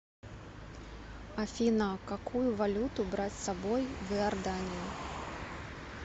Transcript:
афина какую валюту брать с собой в иорданию